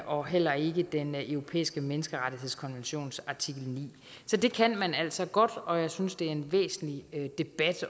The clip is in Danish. og heller ikke den europæiske menneskerettighedskonventions artikel niende så det kan man altså godt og jeg synes det er en væsentlig debat